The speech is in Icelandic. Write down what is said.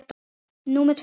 Númer tvö